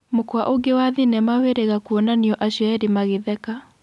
Mũkwa ũngĩ wa thinema wĩrĩga kuonania acio erĩ magĩtheka.